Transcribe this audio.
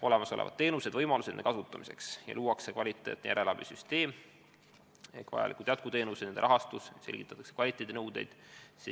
Olemasolevad teenused ja võimalused nende kasutamiseks kaardistatakse ning luuakse kvaliteetne järelabisüsteem, kirja pannakse kõik vajalikud jätkuteenused, nende rahastus ja kvaliteedinõuded.